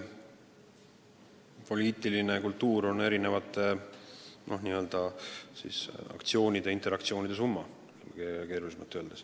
Poliitiline kultuur on erinevate interaktsioonide summa, kui keerulisemalt öelda.